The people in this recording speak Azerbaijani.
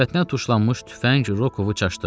Sifətinə tuşlanmış tüfəng Rokovu çaşdırdı.